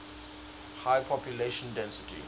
high population density